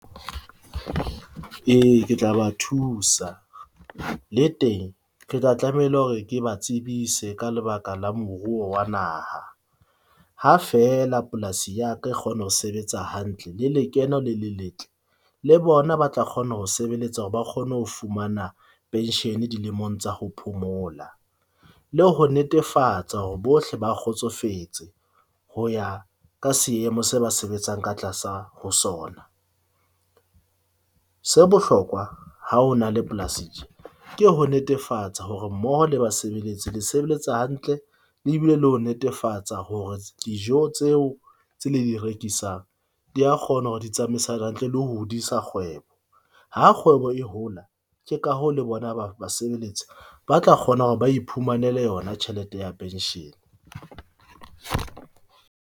E, ke tla ba thusa le teng, ke tla tlameile hore, ke ba tsebise ka lebaka la moruo wa naha, ha fela polasi ya ka kgona ho sebetsa hantle le lekeno le le letle le bona, ba tla kgona ho sebeletsa hore ba kgone ho fumana pension-e dilemong tsa ho phomola. Le ho netefatsa hore bohle ba kgotsofetse ho ya ka seemo se ba sebetsang ka tlasa ho sona. Se bohlokwa ha ho na le polasing tje ke ho netefatsa hore mmoho le basebeletsi le sebeletsa hantle, le e bile le ho netefatsa hore dijo tseo tse le di rekisang di a kgona hore di tsamaisana hantle le hodisa kgwebo. Ha kgwebo e hola ke ka hoo le bona, ba basebeletsi ba tla kgona hore ba iphumanele yona tjhelete ya pension.